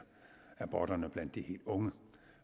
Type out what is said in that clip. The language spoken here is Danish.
aborterne blandt de helt unge